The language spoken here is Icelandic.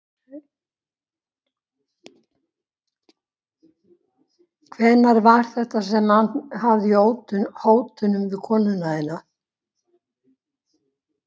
Hvenær var þetta sem hann. hafði í hótunum við konuna þína?